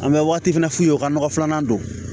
An bɛ waati fana f'u ye u ka nɔgɔ filanan don